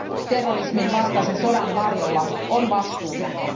terrorismin vastaisen sodan varjolla on vastuutonta.